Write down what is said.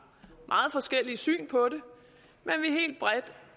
meget forskellige syn på